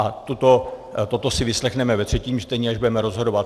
A toto si vyslechneme ve třetím čtení, až budeme rozhodovat.